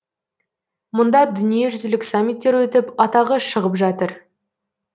мұнда дүниежүзілік саммиттер өтіп атағы шығып жатыр